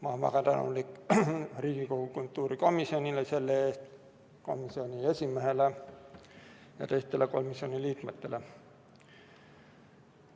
Ma olen selle eest väga tänulik Riigikogu kultuurikomisjonile, komisjoni esimehele ja teistele komisjoni liikmetele.